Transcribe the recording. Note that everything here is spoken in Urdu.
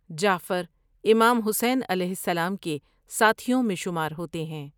جعفر امام حسین علیہ السلام کے ساتھیوں میں شمار ہوتے ہیں ۔